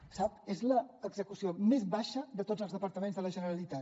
ho sap és l’execució més baixa de tots els departaments de la generalitat